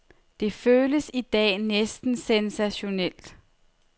Det føles i dag næsten sensationelt.